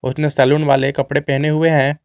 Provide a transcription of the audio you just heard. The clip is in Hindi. उसने सैलुन वाले कपड़े पहने हुए हैं।